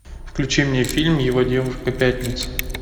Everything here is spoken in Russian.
включи мне фильм его девушка пятница